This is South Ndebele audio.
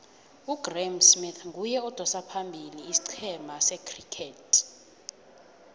ugraeme smith nguye odosa phambili isicema secriket